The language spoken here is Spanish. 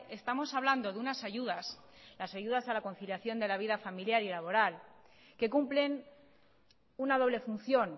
estamos hablando de unas ayudas las ayudas a la conciliación de la vida familiar y laboral que cumplen una doble función